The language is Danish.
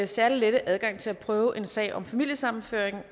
særlige lette adgang til at prøve en sag om familiesammenføring